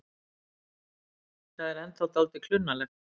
Það er ennþá dálítið klunnalegt.